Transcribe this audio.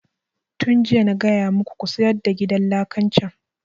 Tun jiya na gaya muku ku sayar da gidan lakan can!